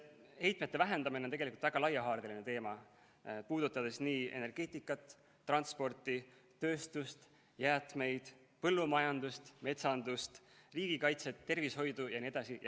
Heitmete vähendamine on väga laiahaardeline teema, see puudutab energeetikat, transporti, tööstust, jäätmeid, põllumajandust, metsandust, liigikaitset, tervishoidu jne.